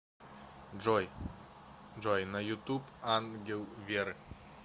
джой на ютуб ангел веры